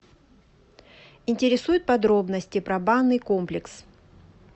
интересуют подробности про банный комплекс